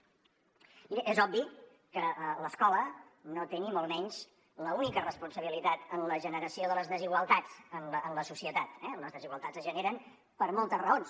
miri és obvi que l’escola no té ni molt menys l’única responsabilitat en la generació de les desigualtats en la societat eh les desigualtats es generen per moltes raons